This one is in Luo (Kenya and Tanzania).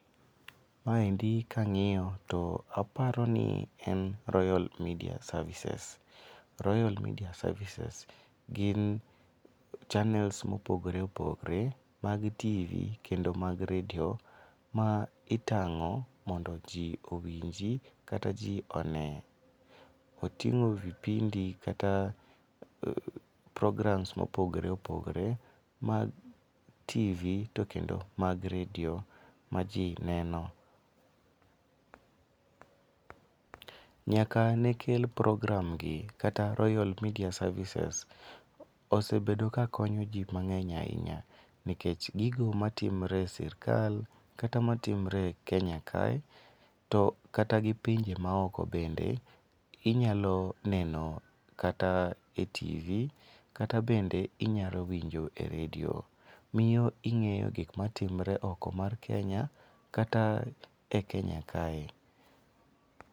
Ma endi ka angiyo to apao ni en royal media services .Royal media services gin chanels ma opogore opogore mag TV kendo mag redio ma itango modo ji ong'i go kata ji onee. Otingo vipindi kata programs ma opogore opogore kendo mag tv to kendo mag redio ma ji neno. Nyaka nekel program gi kata royal media services osebedo ka konyo ji mangeny ainya nikech gogo matimre e sirkal kata ma timre e kenya kae to kata gi pinje ma oko bende .Inyalo neno kata e tv kata bende inyalo winjo e redio. Miyo ingeyo gik ma timre e oko mar kenya kata e kenya kae.